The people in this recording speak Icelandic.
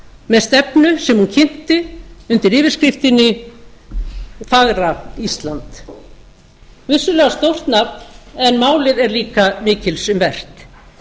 með stefnu sem hún kynnti undir yfirskriftinni fagra ísland vissulega stórt nafn en málið er líka mikils um vert